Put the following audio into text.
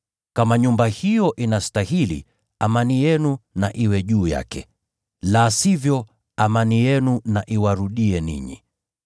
Kama nyumba hiyo inastahili, amani yenu na iwe juu yake. La sivyo, amani yenu na iwarudie ninyi.